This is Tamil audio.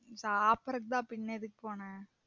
சாப்ரதுக்கு தான் பின்ன எதுக்கு போனேன்